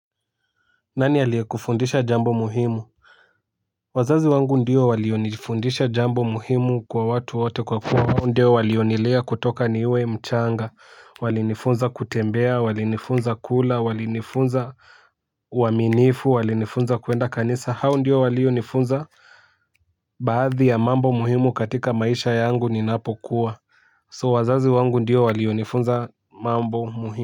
Nani aliyekufundisha jambo muhimu. Wazazi wangu ndiyo walionifundisha jambo muhimu kwa watu wote kwa kuwa ndiyo walionilea kutoka niwe mchanga. Walinifunza kutembea walinifunza kula walinifunza uaminifu walinifunza kuenda kanisa hao ndio walionifunza. Baadhi ya mambo muhimu katika maisha yangu ninapokuwa So wazazi wangu ndio walionifunza mambo muhimu.